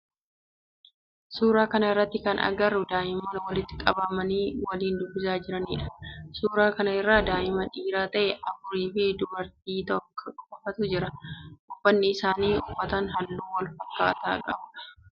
Suuraa kana irratti kan agarru daa'immaan walitti qabamanii waliin dubbisaa jiranidha. Suuraa kan irra daa'ima dhiira ta'e afur fi dubartii takka qofatu jiran. Uffanni isaan uffatan halluu waalfakkaatu kan qabudha.